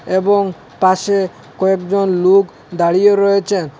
এবং পাশে কয়েকজন লোক দাঁড়িয়েও রয়েচেন।